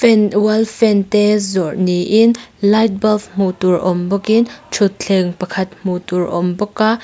wall fan te zawrh niin light bulb hmuh tur awm bawkin thutthleng pakhat hmuh tur awm bawk a.